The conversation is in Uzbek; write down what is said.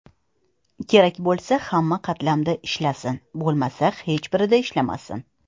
Kerak bo‘lsa, hamma qatlamda ishlasin, bo‘lmasa hech birida ishlamasin.